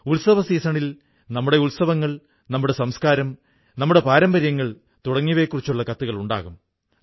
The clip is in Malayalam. ഉത്സവസീസണിൽ നമ്മുടെ ഉത്സവങ്ങൾ നമ്മുടെ സംസ്കാരം നമ്മുടെ പാരമ്പര്യങ്ങൾ തുടങ്ങിയവയെക്കുറിച്ചു കത്തുകളുണ്ടാകും